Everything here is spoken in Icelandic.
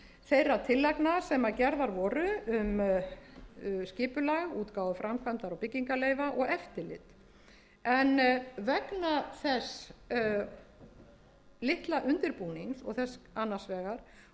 þeirra tillagna sem gerðar voru um skipulag útgáfu framkvæmdar og byggingarleyfa og eftirlit en vegna þess litla undirbúnings annars vegar og þess kapps hins vegar sem iðnaðarráðuneytið lagði